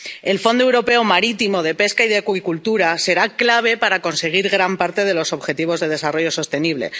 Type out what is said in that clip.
El Fondo Europeo Marítimo, de Pesca y de Acuicultura será clave para conseguir gran parte de los objetivos de desarrollo sostenible.